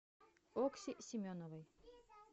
окси семеновой